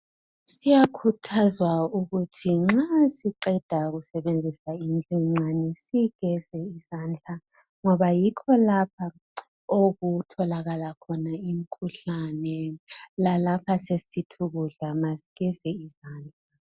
Kuyakhuthazwa ukuthi nxa siqeda kusebenzisa indlu encane sigeze izandla ngoba yikho lapha okutholakala khona imikhuhlane lalapha sesisithi ukudla ma sigeze izandla.